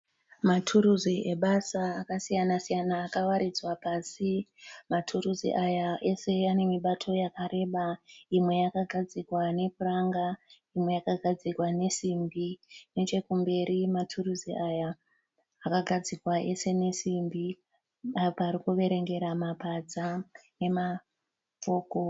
Maturisi ebasa akasiyana siyana akawaridza pasi. Maturisi aya ese enemibato yakareba imwe yakagadzirwa nepuranga, imwe yakagadzirwa nesimbi. nechekumberi maturisi aya akagadzirwa ese nesimbi apa ari kuverengera mapadza nemafoko.